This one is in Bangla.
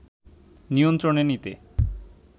নিয়ন্ত্রণে নিতে